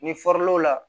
Ni la